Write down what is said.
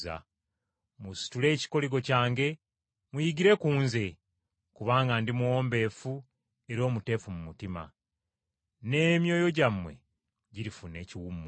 Musitule ekikoligo kyange, muyigire ku nze, kubanga ndi muwombeefu era omuteefu mu mutima, n’emyoyo gyammwe girifuna ekiwummulo.